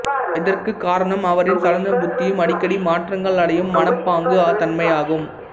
இதற்கு காரணம் அவரின் சலன புத்தியும் அடிக்கடி மாற்றங்கள் அடையும் மனப்பாங்கு தன்மையாகும்